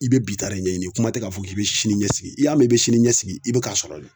I be bi ta de ɲɛɲini kuma tɛ k'a fɔ k'i bɛ sini ɲɛsigi n'i y'a mɛn k'i bɛ sini ɲɛsigi i bi k'a sɔrɔ de